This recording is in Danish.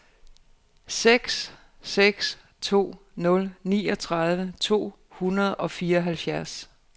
seks seks to nul niogtredive to hundrede og fireoghalvfjerds